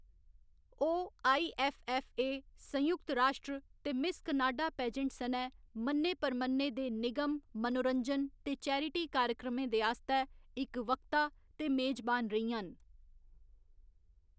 ओह्‌‌ I. F. F. A., संयुक्त राश्ट्र ते मिस कनाडा पेजेंट सनै मन्ने परमन्ने दे निगम, मनोरंजन ते चैरिटी कार्यक्रमें दे आस्तै इक वक्ता ते मेजबान रेहियां न।